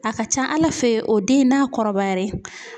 A ka ca Ala fe o den n'a kɔrɔbayare